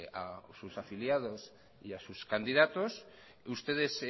sus afiliados y a sus candidatos ustedes